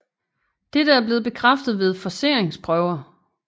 Dette er blevet bekræftet ved forceringsprøver